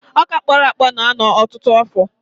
Ọkà kpọrọ akpọ na-anọ ọtụtụ afọ.